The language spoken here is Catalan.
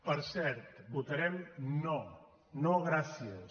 per cert votarem no no gràcies